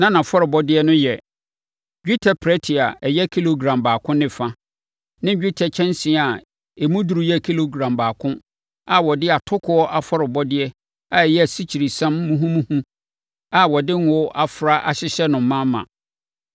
Na nʼafɔrebɔdeɛ no yɛ: dwetɛ prɛte a ɛyɛ kilogram baako ne fa ne dwetɛ kyɛnsee a emu duru yɛ kilogram baako a wɔde atokoɔ afɔrebɔdeɛ a ɛyɛ asikyiresiam muhumuhu a wɔde ngo afra ahyehyɛ no ma ma.